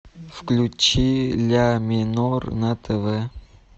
включи ля минор на тв